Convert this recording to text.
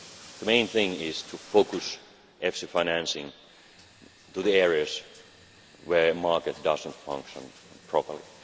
The main thing is to focus EFSI financing on the areas where market does not function properly.